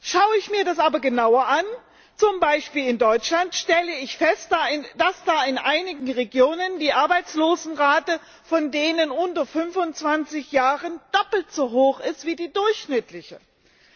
Schaue ich mir das aber genauer an zum Beispiel in Deutschland stelle ich fest, dass da in einigen Regionen die Arbeitslosenrate bei den unter 25 Jährigen doppelt so hoch ist wie die durchschnittliche Arbeitslosenrate.